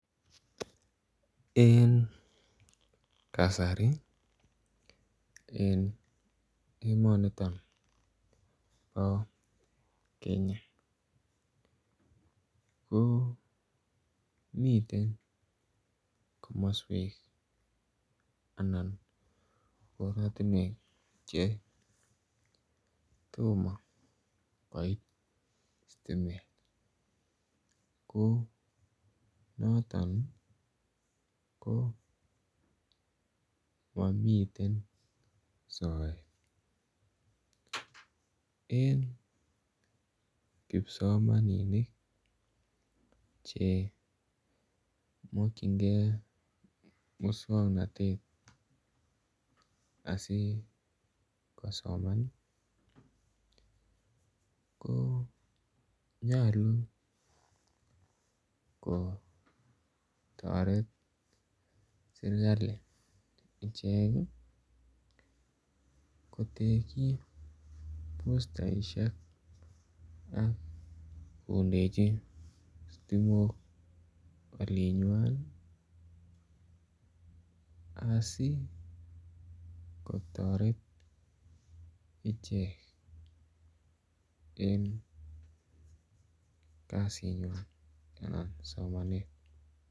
En kasari en emoni bo Kenya ko miten komoswek anan koratinwek Che tomo koit sitimet ko noton ko mamiten soet en kipsomaninik Che mokyingei moswoknatet asi kosoman ko nyolu kotoret serkali kotekyi bustaisiek ak kondechi sitimok olinywan asi kotoret ichek en kasinywan anan somanet